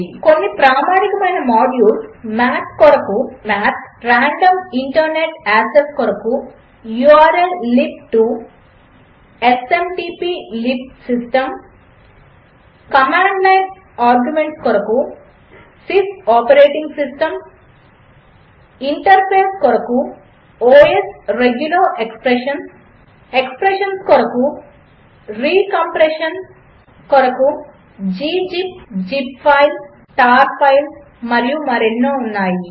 కొన్ని ప్రామాణికమైన modules math కొరకు మ్యాత్ రాండం ఇంటర్నెట్ యాక్సెస్ కొరకు ఉర్ల్లిబ్2 స్మాట్ప్లిబ్ సిస్టం కమాండ్ లైన్ ఆర్గ్యుమెంట్స్ కొరకు sys ఆపరేటింగ్ సిస్టం ఇంటర్ఫేస్ కొరకు ఒఎస్ రెగ్యులర్ ఎక్స్ప్రెషన్స్ కొరకు160 రే కంప్రెషన్ కొరకు గ్జిప్ జిప్ఫైల్ టార్ఫైల్ మరియు మరెన్నో ఉన్నాయి